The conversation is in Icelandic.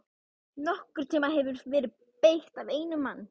NOKKURN TÍMA HEFUR VERIÐ BEYGT AF EINUM MANNI!